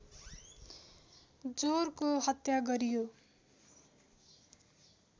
जोरको हत्या गरियो